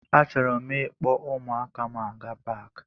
Achọrọ m ịkpọ ụmụaka m aga paki.